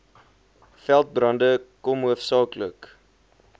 veldbrande kom hoofsaaklik